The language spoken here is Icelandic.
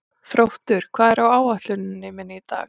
Þróttur, hvað er á áætluninni minni í dag?